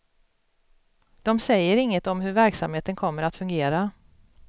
De säger inget om hur verksamheten kommer att fungera.